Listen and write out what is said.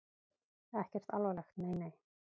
Ekkert alvarlegt, nei nei.